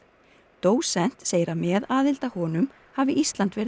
dósent segir að með aðild að honum hafi Ísland verið